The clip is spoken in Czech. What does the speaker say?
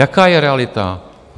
Jaká je realita?